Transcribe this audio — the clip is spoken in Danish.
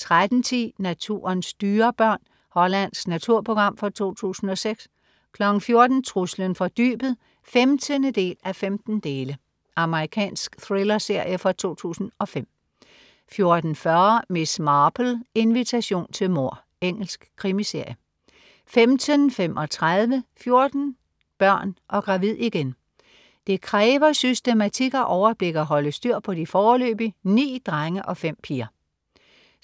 13.10 Naturens dyrebørn. Hollandsk naturprogram fra 2006 14.00 Truslen fra dybet 15:15. Amerikansk thrillerserie fra 2005 14.40 Miss Marple: Invitation til mord. Engelsk krimiserie 15.35 14 børn og gravid igen. Det kræver systematik og overblik at holde styr på de foreløbig ni drenge og fem piger